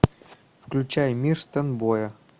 включай мир стэйнбоя